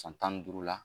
San tan ni duuru la